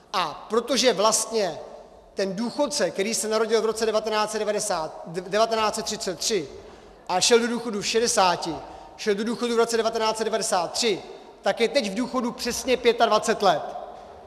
A protože vlastně ten důchodce, který se narodil v roce 1933 a šel do důchodu v šedesáti, šel do důchodu v roce 1993, tak je teď v důchodu přesně 25 let.